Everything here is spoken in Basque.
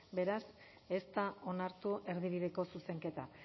beraz ez da onartu erdibideko zuzenketa